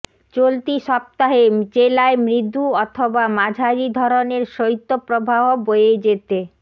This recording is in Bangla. চলতি সপ্তাহে জেলায় মৃদু অথবা মাঝারি ধরনের শৈত্যপ্রবাহ বয়ে যেতে